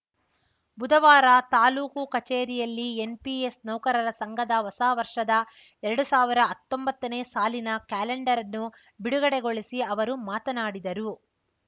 ಬುಧವಾರ ತಾಲೂಕು ಕಚೇರಿಯಲ್ಲಿ ಎನ್‌ಪಿಎಸ್‌ ನೌಕರರ ಸಂಘದ ಹೊಸ ವರ್ಷದ ಎರಡು ಸಾವಿರ ಹತ್ತೊಂಬತ್ತನೇ ಸಾಲಿನ ಕ್ಯಾಲೆಂಡರನ್ನು ಬಿಡುಗಡೆಗೊಳಿಸಿ ಅವರು ಮಾತನಾಡಿದರು